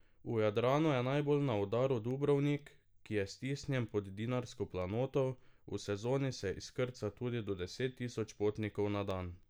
V Jadranu je najbolj na udaru Dubrovnik, ki je stisnjen pod dinarsko planoto, v sezoni se izkrca tudi do deset tisoč potnikov na dan.